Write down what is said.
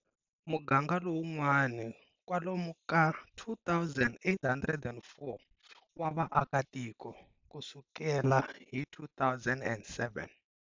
Muganga lowun'wani kwalomu ka 2804 wa vaakatiko, kusukela hi 2007.